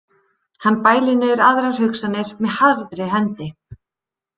Hann bælir niður aðrar hugsanir með harðri hendi.